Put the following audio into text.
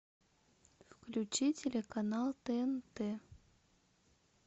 включи телеканал тнт